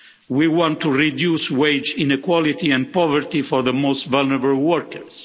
We want to reduce wage inequality and poverty for the most vulnerable workers.